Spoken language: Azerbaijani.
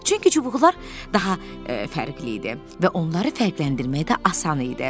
Çünki çubuqlar daha fərqli idi və onları fərqləndirmək də asan idi.